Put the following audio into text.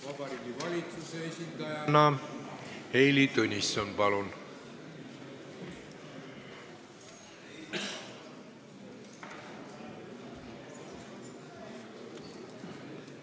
Vabariigi Valitsuse esindaja Heili Tõnisson, palun!